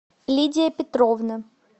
лидия петровна